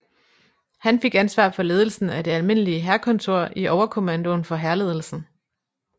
Han fik ansvar for ledelsen af det almindelige hærkontor i overkommandoen for hærledelsen